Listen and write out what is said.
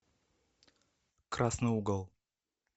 красный угол